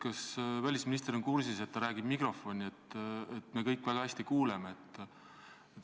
Kas välisminister on kursis, et ta räägib mikrofoni ja et meie kõigi kuulmine on hea?